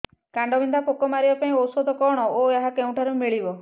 କାଣ୍ଡବିନ୍ଧା ପୋକ ମାରିବା ପାଇଁ ଔଷଧ କଣ ଓ ଏହା କେଉଁଠାରୁ ମିଳିବ